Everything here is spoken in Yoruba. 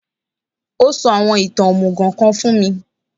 Ó sọ àwọn ìtàn òmùgò kan fún mi